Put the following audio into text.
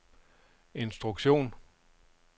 instruktion